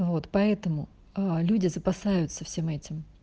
вот поэтому люди запасаются всем этим